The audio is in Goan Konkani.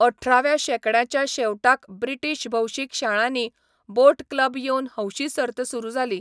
अठराव्या शेंकड्याच्या शेवटाक ब्रिटीश भौशीक शाळांनी बोट क्लब येवन हौशी सर्त सुरू जाली.